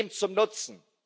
Wem zum Nutzen?